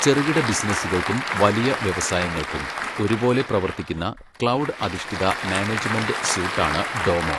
ചെറുകിട ബിസിനസുകൾക്കും വലിയ വ്യവസായങ്ങൾക്കും, ഒരുപോലെ പ്രവർത്തിക്കുന്ന ക്ലൗഡ് അധിഷ്ഠിത മാനേജ്മെന്റ് സ്യൂട്ടാണ് ഡോമോ.